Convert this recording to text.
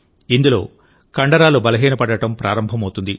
ఇందులో కండరాలు బలహీనపడటం ప్రారంభమవుతుంది